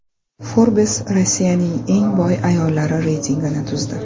Forbes Rossiyaning eng boy ayollari reytingini tuzdi.